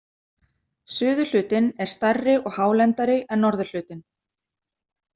Suðurhlutinn er stærri og hálendari en norðurhlutinn.